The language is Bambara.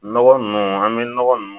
Nɔgɔ nunnu an bɛ nɔgɔ nunnu